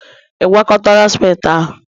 ị gwakọtara ciment ahụ?